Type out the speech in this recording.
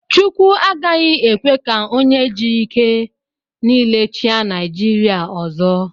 Chukwu agaghị ekwe ka onye ji ike niile chịa Naijiria ọzọ.